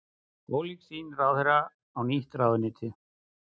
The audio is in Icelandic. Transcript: Ólík sýn ráðherra á nýtt ráðuneyti